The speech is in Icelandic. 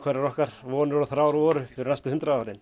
eru okkar vonir og þrár voru fyrir næstu hundrað árin